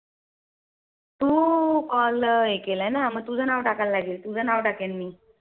तू Call हे केलाय ना मग तुझं नाव टाकायला लागेल. तुझं नाव टाकेल मी